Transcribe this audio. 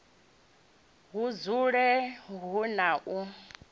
hu dzule hu na u